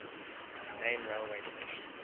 main railway station